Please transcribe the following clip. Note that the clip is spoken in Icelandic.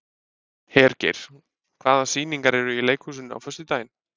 Hergeir, hvaða sýningar eru í leikhúsinu á föstudaginn?